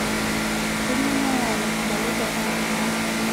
Kainyoo nayau larrabali tiatua ltung'ana